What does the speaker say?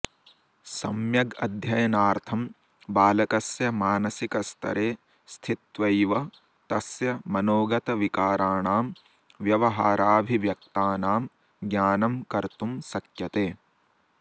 सम्यगध्ययनार्थं बालकस्य मानसिकस्तरे स्थित्वैव तस्य मनोगतविकाराणां व्यवहाराऽभिव्यक्तानां ज्ञानं कर्तुं शक्यते